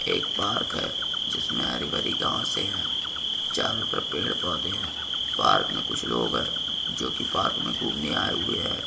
एक पार्क है जिसमे हरी भरी घास है चारो तरफ पेड़ पौधे है पार्क में कुछ लोग है जो की पार्क में घूमने आए हुए है।